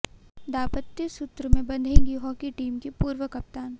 दांपत्य सूत्र में बंधेगी हॉकी टीम की पूर्व कप्तान